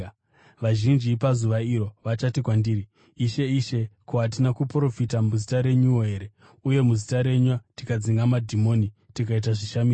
Vazhinji pazuva iro vachati kwandiri, ‘Ishe, Ishe, ko, hatina kuprofita muzita renyuwo here, uye muzita renyu tikadzinga madhimoni, tikaita zvishamiso?’